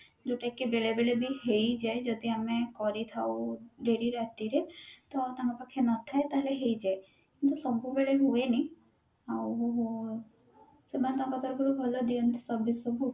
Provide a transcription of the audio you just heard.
ଯୋଉଟା କି ବେଳେ ବେଳେ ବି ହେଇଯାଏ ଯଦି ଆମେ କରିଥାଉ ଡେରି ରାତିରେ ତ ତାଙ୍କ ପାଖେ ନଥାଏ ତାହେଲେ ହେଇଯାଏ କିନ୍ତୁ ସବୁବେଳେ ହୁଏନି ଆଉ ସେମାନେ ତାଙ୍କ ତରଫରୁ ଭଲ ଦିଅନ୍ତି service ସବୁ